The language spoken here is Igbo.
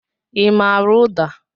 I maara ụda?